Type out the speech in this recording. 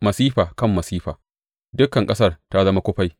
Masifa kan masifa; dukan ƙasar ta zama kufai.